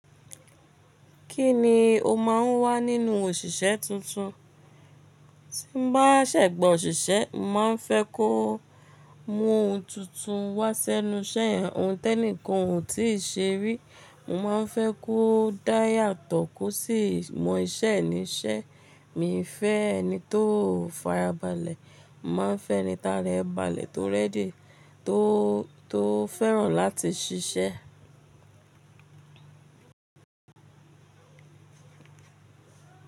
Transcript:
Kí ni o máa ń wá nínú òṣìṣẹ́ tuntun? Tí n bá ṣẹ̀gba òṣìṣẹ́, mo máa ń fẹ́ kó mú ohun tuntun wá sẹ́nu iṣẹ́ yẹn, ohun tẹ́ní kan ò tí ì ṣe rí. Mo máa n fẹ́ kó dáya tọ ko sí mọ iṣẹ́ níṣẹ́. Mi i fẹ́ ẹni tó farabalẹ̀. Mo máa n fẹ́ ẹni tara ẹ balẹ̀, tó rẹ́dì, tó, tó fẹ́ràn láti ṣiṣẹ́.